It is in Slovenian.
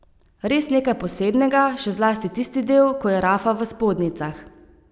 Res nekaj posebnega, še zlasti tisti del, ko je Rafa v spodnjicah.